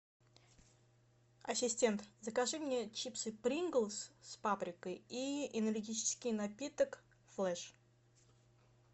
ассистент закажи мне чипсы принглс с паприкой и энергетический напиток флэш